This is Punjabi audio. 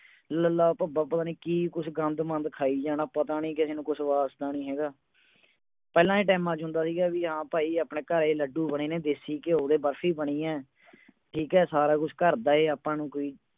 ਲੱਲਾ ਭੱਭਾ ਪਤਾ ਨਹੀਂ ਕੀ ਕੁੱਝ ਗੰਦ ਮੰਦ ਖਾ ਈ ਜਾਣਾ ਪਤਾ ਨਹੀਂ ਕਿਸੇ ਨੂੰ ਕੁਝ ਵਾਸਤਾ ਨਹੀਂ ਹੈਗਾ ਪਹਿਲਾਂ ਦੇ times ਚ ਹੁੰਦਾ ਸੀਗਾ ਹਾਂ ਭਾਈ ਆਪਣੇ ਘਰੇ ਲੱਡੂ ਬਣੇ ਨੇ ਦੇਸੀ ਘਿਉ ਦੇ ਬਰਸੀ ਬਣੀਐ ਠੀਕ ਹੈ ਸਾਰਾ ਕੁਝ ਆਪਾਂ ਨੂੰ ਘਰ ਦਾ ਹੀ